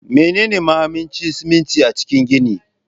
Menene mahimmancin siminti a cikin gini?